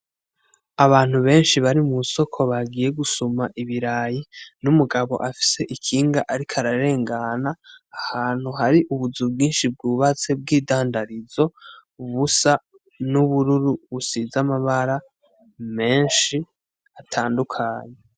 Abantu benshi bari mu soko bagiye gusuma ibirayi n'umugabo afise ikinga ariko ararengana ahantu hari ubuzu bwinshi bwubatse bw'idandarizo ubusa n'ubururu busize amabara menshi atandukanye.